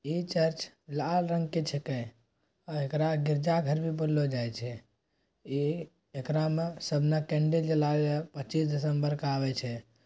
इ चर्च लाल रंग के छेके अ एकरा गिरजा घर भी बोललो जाय छै इ एकरा मे सबने कैंडल जलावे पच्चीस दिसंबर के आवे छै।